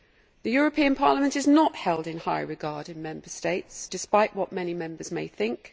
The European Parliament is not held in high regard in Member States, despite what many Members may think.